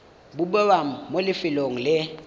go bewa mo lefelong le